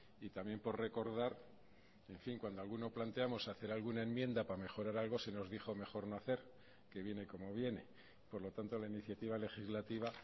y también por recordar en fin cuando alguno planteamos hacer alguna enmienda para mejorar algo se nos dijo mejor no hacer que viene como viene por lo tanto la iniciativa legislativa